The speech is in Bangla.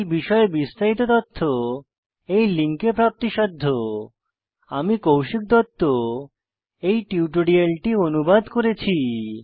এই বিষয়ে বিস্তারিত তথ্য এই লিঙ্কে প্রাপ্তিসাধ্য httpspoken tutorialorgNMEICT Intro আমি কৌশিক দত্ত এই টিউটোরিয়ালটি অনুবাদ করেছি